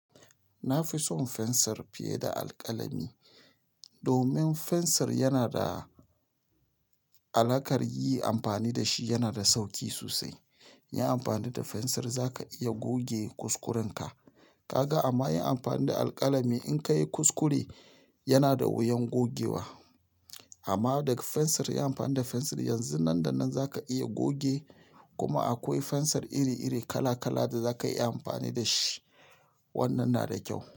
Na fi son fensir fiye da alƙalami domin fensir yana da alakar yi amfani da shi, yana da sauki sosai. Yi amfani da fensir za ka iya goge kuskurenka. Kaga amma yin amfani da alƙalami in ka yi kuskure yana da wuyan gogewa. Amma daga fensir, yi amfani da fensir yanzu nan da nan za ka iya goge kuma akwai fensir iri-iri kala kala da za ka iya amfani da shi. Wannan na da kyau.